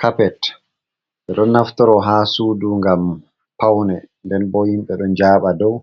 Kapet ɓe ɗon naftoro ha sudu ngam paune, nden bo himɓe ɗon yaɓa dow,